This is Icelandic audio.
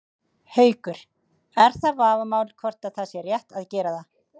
Haukur: Er það vafamál hvort að það sé rétt að gera það?